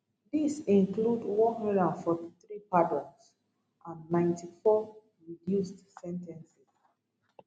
dis include 143 pardons and 94 reduced sen ten ces